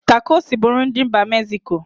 Takosi bụ nri ndị mba meziko.